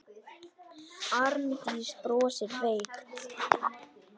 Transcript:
Arndís brosir veikt.